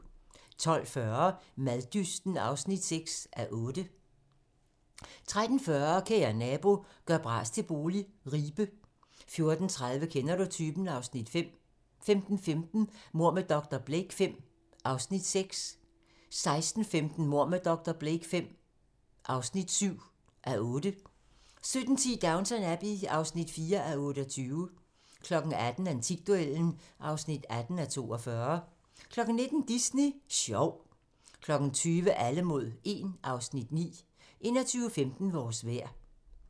12:40: Maddysten (6:8) 13:40: Kære nabo - gør bras til bolig - Ribe 14:30: Kender du typen? (Afs. 5) 15:15: Mord med dr. Blake V (6:8) 16:15: Mord med dr. Blake V (7:8) 17:10: Downton Abbey (4:28) 18:00: Antikduellen (18:42) 19:00: Disney Sjov 20:00: Alle mod 1 (Afs. 9) 21:15: Vores vejr